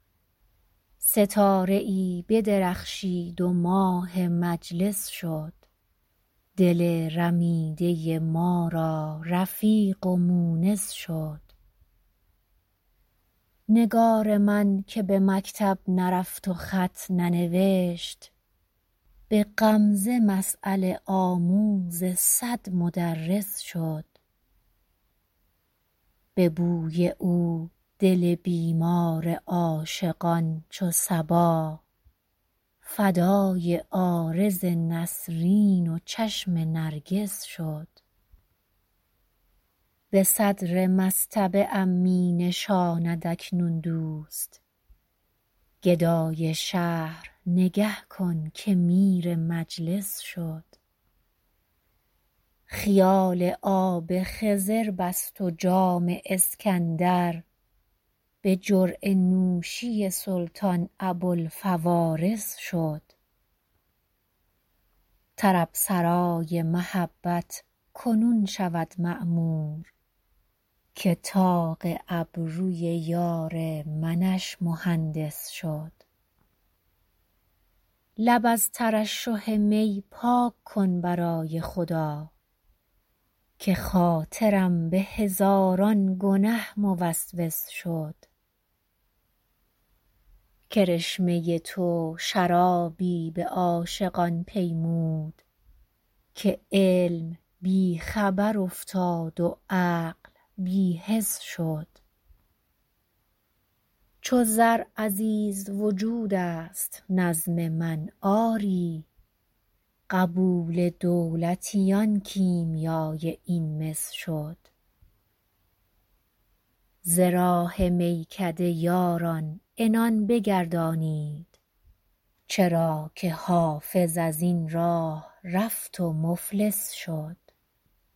ستاره ای بدرخشید و ماه مجلس شد دل رمیده ما را رفیق و مونس شد نگار من که به مکتب نرفت و خط ننوشت به غمزه مسأله آموز صد مدرس شد به بوی او دل بیمار عاشقان چو صبا فدای عارض نسرین و چشم نرگس شد به صدر مصطبه ام می نشاند اکنون دوست گدای شهر نگه کن که میر مجلس شد خیال آب خضر بست و جام اسکندر به جرعه نوشی سلطان ابوالفوارس شد طرب سرای محبت کنون شود معمور که طاق ابروی یار منش مهندس شد لب از ترشح می پاک کن برای خدا که خاطرم به هزاران گنه موسوس شد کرشمه تو شرابی به عاشقان پیمود که علم بی خبر افتاد و عقل بی حس شد چو زر عزیز وجود است نظم من آری قبول دولتیان کیمیای این مس شد ز راه میکده یاران عنان بگردانید چرا که حافظ از این راه رفت و مفلس شد